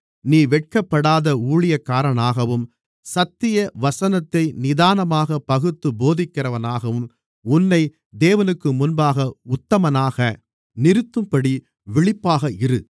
நீ வெட்கப்படாத ஊழியக்காரனாகவும் சத்திய வசனத்தை நிதானமாகப் பகுத்துப் போதிக்கிறவனாகவும் உன்னை தேவனுக்குமுன்பாக உத்தமனாக நிறுத்தும்படி விழிப்பாக இரு